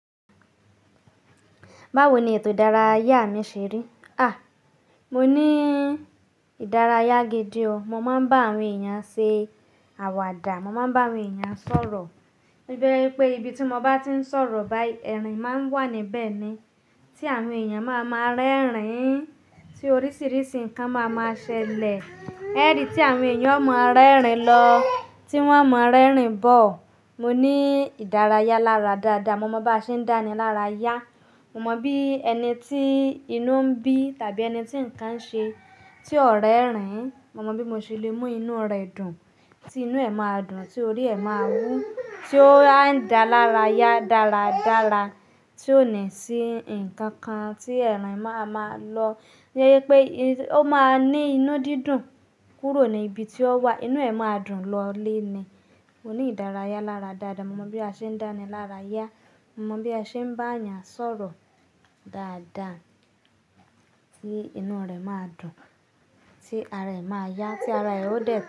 Báwo ni ètò ìdárayá mi ṣe rí? Àa! Mo ní ìdárayá gidi ọ. Mo máa ń bá àwọn èèyàn ṣe àwàdà. Mo máa ń bá àwọn èèyàn sọ̀rọ̀. To jẹ́ wípé ibi tí mo bá ti ń sọ̀rọ̀ báyìí, ẹ̀rín máa ń wà níbẹ̀ ni, tí àwọn èèyàn máa máa rẹ́rìn-ín, tí oríṣiríṣi nǹkan máa máa ṣẹlẹ̀. Ẹ́ri tí àwọn èèyàn o máa rẹ́rìn-ín lọ, tí wọ́n o máa rẹ́rìn-ín bọ̀. Mo ní ìdárayá lára dáadáa. Mo mọ bí a ṣe ń dá ni lára yá. Mo mọ bí ẹni tí inú ń bí tàbí ẹni tí nǹkan ṣe tí ó rẹ́rìn-ín, mo mọ bí mo ṣe lè mú inú rẹ̀ dùn, tí inú ẹ̀ máa dùn, tí orí ẹ̀ máa wú, tí ó á dà lára yá dáradára, tí ó ní sí ǹkan kan tí ẹ̀rín máa máa lọ. Ó jẹ́ wípé ó máa ní inú dídùn kúrò ní ibi tí ó wà. Inú ẹ̀ máa dùn lọ lé ni. Mo ní ìdárayá lára dáadáa. Mo mọ bí a ṣe ń dá ni lára yá. Mo mọ bí a ṣe ń bá èèyàn sọ̀rọ̀ dáadáa tí inú rẹ̀ máa dùn, tí ara ẹ̀ máa yá, tí ara ẹ̀ ó dẹ̀